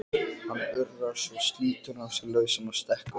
Hann urrar, svo slítur hann sig lausan og stekkur á